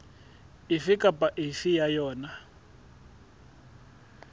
efe kapa efe ya yona